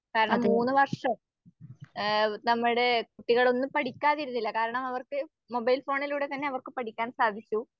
കാരണം മൂന്നുവർഷം ആഹ് നമ്മുടെ കുട്ടികളൊന്നും പഠിക്കാതിരുന്നില്ല. കാരണം അവർക്ക് മൊബൈൽ ഫോണിലൂടെതന്നെ പഠിക്കാൻ സാധിച്ചു